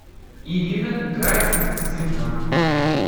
ирина гарицина